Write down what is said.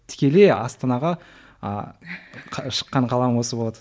тікелей астанаға ы шыққан қалам осы болады